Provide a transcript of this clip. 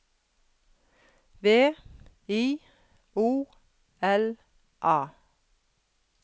V I O L A